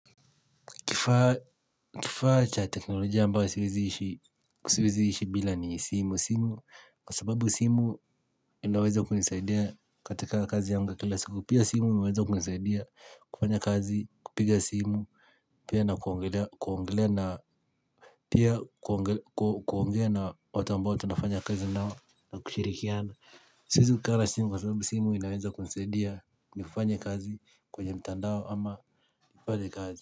Kifaa cha teknolojia ambayo siwezi ishi siwezi ishi bila ni simu. Simu, kwa sababu simu inaweza kunisaidia katika kazi yangu ya kila siku. Pia simu inaweza kunisaidia kufanya kazi, kupiga simu, pia na kuongelea kuongelea na pia kuongea na watu ambayo tunafanya kazi nao na kushirikiana. Siwezi ku kaa na simu Kwa sababu simu inaweza kunisaidia ni fanye kazi kwenye mtandao ama ni pate kazi.